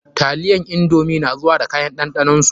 Taliyan indomi na zuwa da kayan ɗanɗanon su.